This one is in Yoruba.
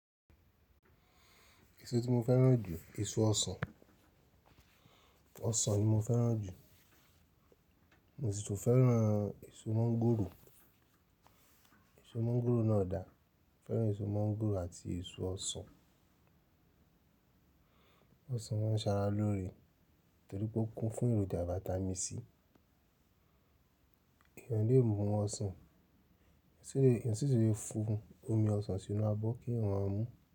Èso tí mo fẹ́ràn jù, èso ọsàn. Ọsàn ni mo fẹ́ràn jù. Mo sì tún fẹ́ràn èso mọ́ńgòrò. Èso mọ́ńgòrò náà dà. Mo fẹ́ràn èso mọ́ńgòrò àti èso ọsàn. Ọsàn máa ń ṣàrà lóore torí pé ó kún fún èròjà Vitamin C. Èèyàn le mú ọsàn, èsì le, ẹ̀sìn sì le fún omi ọsàn sínú abọ́ kí èèyàn má mú.